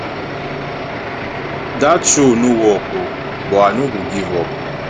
dat show no work oo but i no go give up